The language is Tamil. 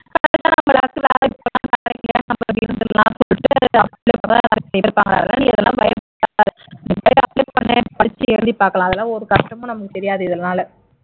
அதான் நீ இதெல்லாம் பயப்படாதே apply பண்ணு பரிட்சை எழுதிப் பார்க்கலாம் அதெல்லாம் ஒரு கஷ்டமும் நமக்கு தெரியாது இதனால